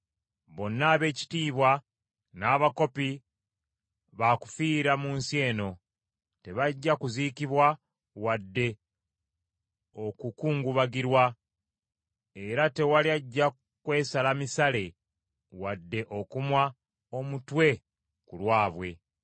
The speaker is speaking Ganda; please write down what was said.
Bonna ab’ekitiibwa n’abakopi baakufiira mu nsi eno. Tebajja kuziikibwa wadde okukungubagirwa era tewali ajja kwesala misale wadde okumwa omutwe ku lwabwe.